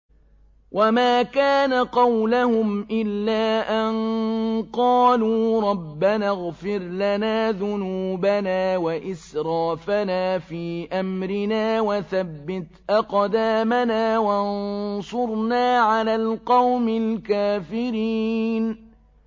وَمَا كَانَ قَوْلَهُمْ إِلَّا أَن قَالُوا رَبَّنَا اغْفِرْ لَنَا ذُنُوبَنَا وَإِسْرَافَنَا فِي أَمْرِنَا وَثَبِّتْ أَقْدَامَنَا وَانصُرْنَا عَلَى الْقَوْمِ الْكَافِرِينَ